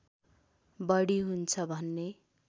बढी हुन्छ भन्ने